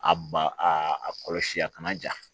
A ba a kɔlɔsi a kana ja